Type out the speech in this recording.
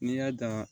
N'i y'a dan